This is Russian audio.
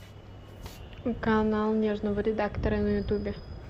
канал нежного редактора на ютубе